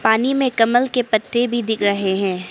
पानी में कमल के पत्ते भी दिख रहे हैं।